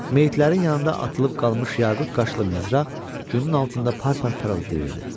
Meyitlərin yanında atılıb qalmış yaqut qaşlı mizrax günün altında par-par parıldayırdı.